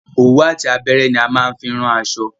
Òwú àti abẹ́rẹ́ ní a máa ń fi ran aṣọ.